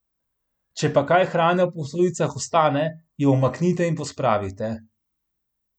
Če pa kaj hrane v posodicah ostane, jo umaknite in pospravite.